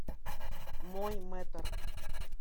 мой мэтр